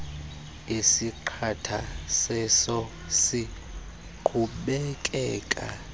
esiqatha seso siqhubekeka